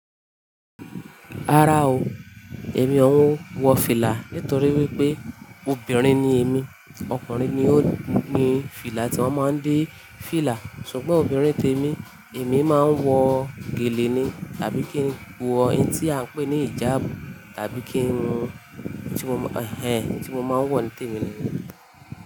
Rárá o, èmi ò ń wọ fìlà nítorí wípé obìnrin ni èmi. Okùnrin ni ó ni fìlà tí wón máa ń dé fìlà, ṣùgbọ́n obìnrin tèmi, èmi máa ń wọ gèlè ni tàbí kí n wọ ẹtin tí à ń pè ní ìjábù tàbí kí n wọ ohun tí mo máa ń wọ nítèmi ni.